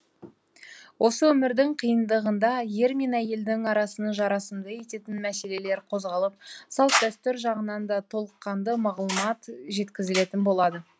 осы өмірдің қиындығында ер мен әйелдің арасын жарасымды ететін мәселелер қозғалып салт дәстүр жағынан да толыққанды мағлұмат жеткізілетін болады